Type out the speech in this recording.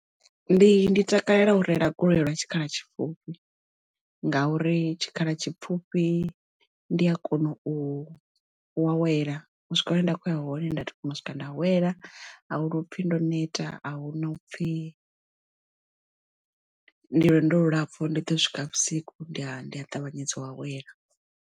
Ndi takalela u reila goloi lwa tshikhala tshipfufhi ngauri tshikhala tshipfhufhi ndi a kona u awela u swika hune nda khoya ya hone nda swika nda awela a huno upfhi ndo neta a hu na upfhi ndi lwendo lu lapfu ndi ḓo u swika vhusiku ndi a ndi a ṱavhanyedza u awela.